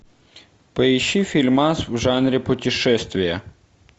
поищи фильмас в жанре путешествия